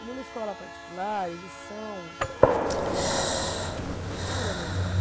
E numa escola particular, eles são eh, eles têm uma estrutura melhor.